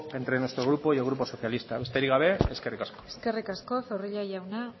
entre nuestro grupo y el grupo socialista besterik gabe eskerrik asko eskerrik asko zorrilla jauna